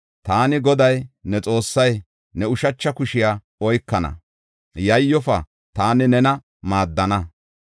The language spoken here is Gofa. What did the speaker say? Taani Goday, ne Xoossay, ne ushacha kushiya oykana; yayyofa, taani nena maaddana.